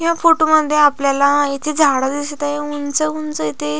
या फोटो मध्ये आपल्याला येथे झाड दिसत आहे उंच उंच येथे --